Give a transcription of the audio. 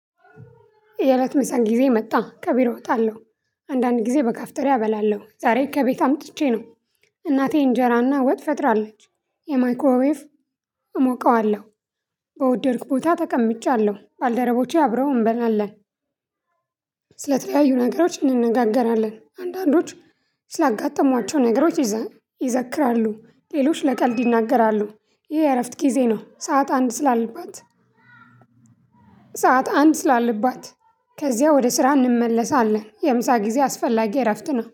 የእለት ምሳ ጊዜ መጣ ከቢሮ ወጣለሁ። አንዳንድ ጊዜ በካፍቴሪያ እበላለሁ ዛሬ ከቤት አምጥቼ ነው። እናቴ እንጀራና ወጥ ፈጥራለች የማይክሮዌቭ እሞቀዋለሁ። በወደድክ ቦታ ተቀምጫለሁ ባልደረቦቼ አብረው እንበላለን። ስለተለያዩ ነገሮች እንነጋገራለን አንዳንዶች ስላጋጠሟቸው ነገሮች ይዘክራሉ። ሌሎች ለቀልድ ይናገራሉ። ይሄ የእረፍት ጊዜ ነው። ሰዓት አንድ ለዓት አንድ ስላለባት ከዚያ ወደ ስራ እንመለሳለን። የምሳ ጊዜ አስፈላጊ እረፍት ነው